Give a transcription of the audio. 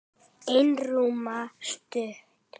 Einróma stutt.